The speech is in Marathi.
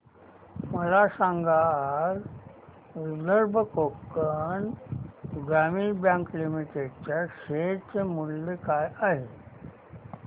मला सांगा आज विदर्भ कोकण ग्रामीण बँक लिमिटेड च्या शेअर चे मूल्य काय आहे